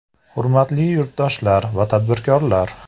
Hurmatli yurtdoshlar va tadbirkorlar!